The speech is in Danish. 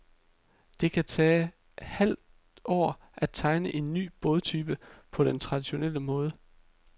Det kan tage halve år at tegne en ny bådtype på den traditionelle måde.